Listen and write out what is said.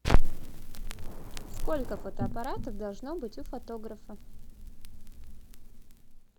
сколько фотоаппаратов должно быть у фотографа